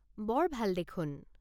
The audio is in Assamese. বৰ ভাল দেখোন।